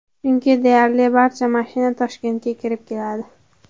Chunki deyarli barcha mashina Toshkentga kirib keladi.